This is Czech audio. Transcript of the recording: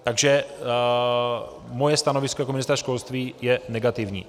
Takže moje stanovisko jako ministra školství je negativní.